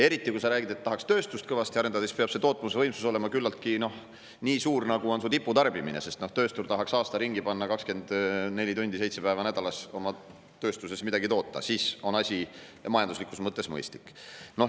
Eriti, kui sa räägid, et tahaks kõvasti tööstust arendada, peab tootmisvõimsus olema nii suur, nagu on tiputarbimine, sest tööstur tahaks aasta ringi 24 tundi seitse päeva nädalas oma tööstuses midagi toota, siis on asi majanduslikus mõttes mõistlik.